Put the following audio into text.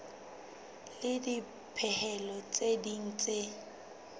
le dipehelo tse ding tse